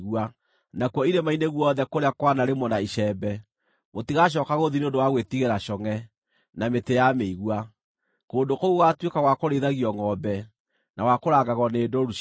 Nakuo irĩma-inĩ guothe kũrĩa kwanarĩmwo na icembe, mũtigacooka gũthiĩ nĩ ũndũ wa gwĩtigĩra congʼe, na mĩtĩ ya mĩigua; kũndũ kũu gũgaatuĩka gwa kũrĩithagio ngʼombe, na gwa kũrangagwo nĩ ndũũru cia ngʼondu.